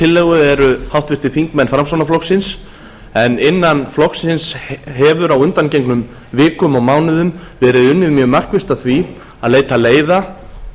tillögu eru háttvirtir þingmenn framsóknarflokksins en innan flokksins hefur á undangengnum vikum og mánuðum verið unnið mjög markvisst að því að leita leiða